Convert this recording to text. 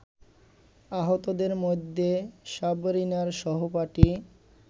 আহতদের মধ্যে সাবরিনার সহপাঠী